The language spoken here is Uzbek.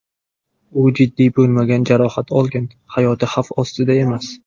U jiddiy bo‘lmagan jarohat olgan, hayoti xavf ostida emas.